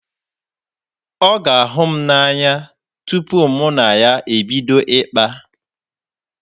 Ọ ga-ahụ m n'anya tupu mụ na ya ebido ịkpa.